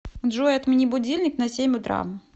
джой отмени будильник на семь утра